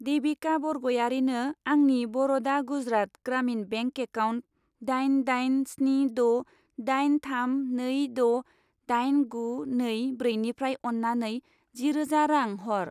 देबिका बरगयारिनो आंनि बर'दा गुजरात ग्रामिन बेंक एकाउन्ट दाइन दाइन स्नि द' दाइन थाम नै द' दाइन गु नै ब्रैनिफ्राय अन्नानै जिरोजा रां हर।